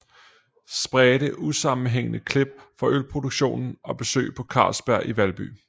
Spredte usammenhængende klip fra ølproduktionen og besøg på Carlsberg i Valby